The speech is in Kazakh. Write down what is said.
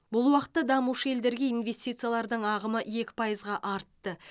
бұл уақытта дамушы елдерге инвестициялардың ағымы екі пайызға артты